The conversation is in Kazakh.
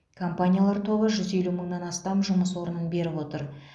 компаниялар тобы жүз елу мыңнан астам жұмыс орнын беріп отыр